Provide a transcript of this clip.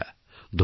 ধন্যবাদ